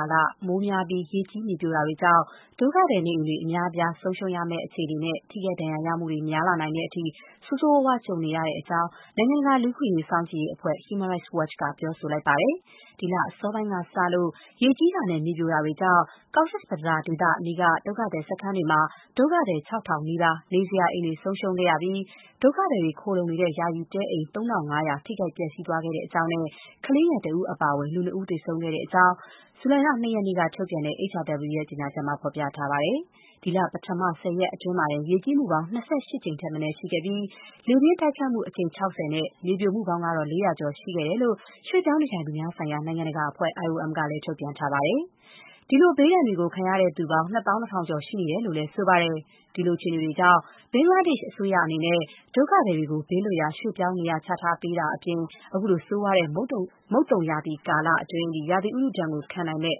ာလ မိုးများပြီး ရေကြီး မြေပြိုတာတွေကြောင့် ဒုက္ခသည် နေအိမ်တွေ အများအပြား ဆုံးရှုံးရမယ့်အခြေအနေနဲ့ ထိခိုက်ဒဏ်ရာရမှုတွေ များလာနိုင်တဲ့အထိ ဆိုးဆိုးရွားရွား ကြုံနေရတဲ့အကြောင်း နိုင်ငံတကာ လူ့အခွင့်အရေး စောင့်ကြည့်မှုအဖွဲ့ Human Rights Watch က ပြောပါတယ်။ ဒီလ အစောပိုင်းကစလို့ ရေကြီးတာနဲ့ မြေပြိုတာတွေကြောင့် Cox’s Bazar ဒေသအနီးက ဒုက္ခသည်စခန်းတွေမှာ ဒုက္ခသည် ၆,၀၀၀ နီးပါး နေစရာအိမ်တွေ ဆုံးရှုံးခဲ့ရပြီး ဒုက္ခသည်တွေခိုလုံနေတဲ့ ယာယီတဲအိမ် ၃၅၀၀ ထိခိုက်ပျက်စီးသွားခဲ့ကြောင်း၊ ကလေးငယ်တဦးအပါအဝင် လူ နှစ် ဦးသေဆုံးခဲ့တဲ့အကြောင်း ဇူလိုင်လ ၂ ရက်နေ့က ထုတ်ပြန်တဲ့ HRW ရဲ့ ကြေညာချက်မှာ ဖော်ပြထားပါတယ်။ ဒီလ ပထမ ၁၀ ရက်အတွင်း ရေကြီးမှုပေါင်း ၂၈ ကြိမ်ထက်မနည်း ရှိခဲ့ပြီး လေပြင်းတိုက်ခတ်မှု အကြိမ် ၆၀ နဲ့ မြေပြိုမှုပေါင်းကတော့ ၄၀၀ ကျော်ရှိခဲ့တဲ့အကြောင်း ရွှေ့ပြောင်းနေထိုင်သူများဆိုင်ရာ နိုင်ငံတကာအဖွဲ့ IOM ကလည်း ထုတ်ပြန်ထားပါတယ်။ ဒီလို ဘေးဒဏ်တွေကိုခံရသူပေါင်း ၂၂,၀၀၀ ကျော်ရှိနေတယ်လို့လည်း ဆိုပါတယ်။ ဒီလို အခြေအနေတွေကြောင့် ဘင်္ဂလားဒေ့ရှ်အစိုးရအနေနဲ့ ဒုက္ခသည်တွေကို ဘေးလွတ်ရာ ရွှေ့ပြောင်းနေရာချပေးတာအပြင် ခုလို ဆိုးရွားတဲ့ မုတ်သုံရာသီ ကာလအတွင်း ရာသီဥတုဒဏ် ခံနိုင်မယ့်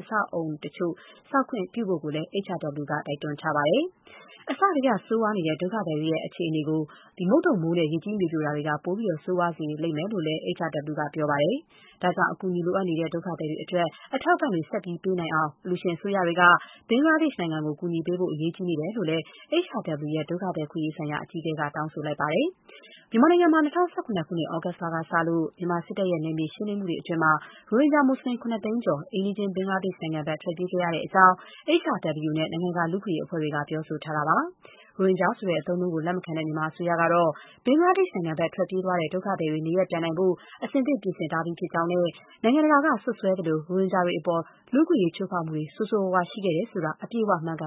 အဆောက်အအုံတချို့ ဆောက်ခွင့်ပေးဖို့လည်း HRW က တိုက်တွန်းထားပါတယ်။ အစကတည်းက ဆိုးရွားနေတဲ့ ဒုက္ခသည်တွေရဲ့ အခြေအနေကို မုန်သုံမိုးနဲ့ ရေကြီးမြေပြိုမှုတွေက ပိုပြီး ဆိုးရွားစေခဲ့တယ်လို့လည်း HRW က ပြောပါတယ်။ ဒါကြောင့် အကူအညီလိုအပ်နေတဲ့ ဒုက္ခသည်တွေအတွက် အထောက်အပံ့တွေ ဆက်ပြီး ပေးနိုင်အောင် အလှူရှင်အစိုးရတွေက ဘင်္ဂလားဒေ့ရှ်နိုင်ငံကို ကူညီပေးဖို့ အရေးကြီးနေတယ်လို့လည်း HRW ရဲ့ ဒုက္ခသည်အခွင့်အရေးဆိုင်ရာ အကြီးအကဲက တောင်းဆိုခဲ့ပါတယ်။ မြန်မာနိုင်ငံမှာ ၂၀၁၇ ခုနှစ် သြဂုတ်ကစလို့ မြန်မာစစ်တပ်ရဲ့ နယ်မြေရှင်းလင်းမှုတွေအတွင်း ရိုဟင်ဂျာမူစလင် ၇၀၀,၀၀၀ ကျော် အိမ်နီးရှင်း ဘင်္ဂလားဒေ့ရှ်နိုင်ငံဘက် ထွက်ပြေးခဲ့ရတဲ့အကြောင်း HRW နဲ့ နိုင်ငံတကာ လူ့အခွင့်အရေးအဖွဲ့တွေက ပြောဆိုထားတာပါ။ ရိုဟင်ဂျာဆိုတဲ့ အသုံးအနှုန်းကို လက်မခံတဲ့ မြန်မာအစိုးရကတော့ ဘင်္ဂလားဒေ့ရှ်ဘက် ထွက်ပြေးသွားတဲ့ ဒုက္ခသည်တွေ နေရပ်ပြန်နိုင်ဖို့ အဆင်သင့် ပြင်ဆင်ထားကြောင်းနဲ့ နိုင်ငံတကာက စွပ်စွဲသလို ရိုဟင်ဂျာတွေအပေါ် လူ့အခွင့်အရေး ချိုးဖောက်မှုတွေ ဆိုးဆိုးရွားရွား ရှိခဲ့တယ်ဆိုတာ အပြည့်အဝ မမှန်ကန်